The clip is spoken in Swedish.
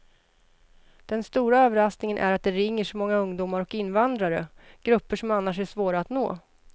Den stora överraskningen är att det ringer så många ungdomar och invandrare, grupper som annars är svåra att nå.